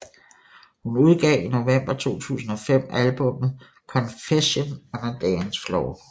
Hun udgav i november 2005 albummet Confessions on a Dance Floor